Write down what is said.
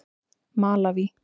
Malaví